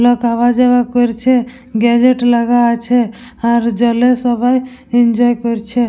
লোক আওয়া যাওয়া করছে গেজেট লাগা আছে আর জলে সবাই এনজয় করছে।